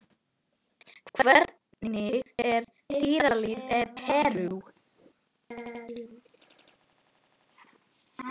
Hvernig er dýralíf í Perú?